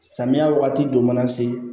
Samiya wagati dɔ ma na se